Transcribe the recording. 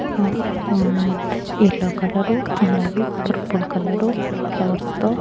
ఆ ఆ yellow colour అలాగే పర్పుల్ కలరు ఫ్లవర్స్ తో --